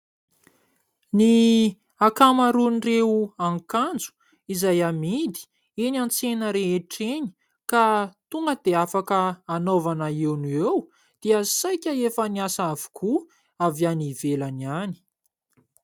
Ny akamaroan'ireo akanjo izay amidy eny an-tsena rehetra eny ka tonga dia afaka anaovana eo no eo dia saika efa niasa avokoa avy any ivelany ihany.